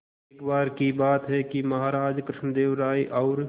एक बार की बात है कि महाराज कृष्णदेव राय और